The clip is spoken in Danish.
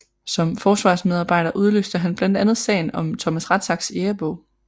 Som forsvarsmedarbejder udløste han blandt andet sagen om Thomas Rathsacks jægerbog